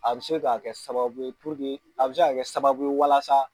A bɛ se k'a kɛ sababu ye a bɛ se k'a kɛ sababu ye walasa.